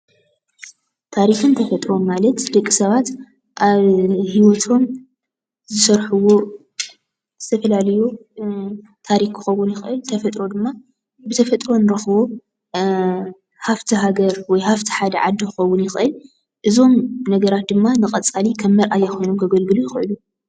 ታሪክን ተፈጥሩን ማለት ደቂ ሰባት ኣብ ሂወቶም ዝሰርሕዎ ዝተፈላለዩ እ ታሪክ ክከዉን ይክእል። ተፈጥሮ ድማ ብተፈጥሮ ንረክቦ ሃፍቲ ሃገር ወይ ሃፍቲ ሓደ ዓዲ ክከዉን ይክእል፡፡ እዞም ነገራት ድማ ንቀፃሊ ከም መርኣያ ኮይኖም ከገልግሉ ይክእሉ፡፡